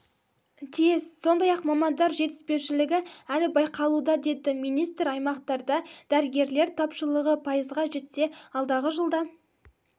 тиіс сондай-ақ мамандар жетіспеушілігі әлі байқалуда деді министр аймақтарда дәрігерлер тапшылығы пайызға жетсе алдағы жылда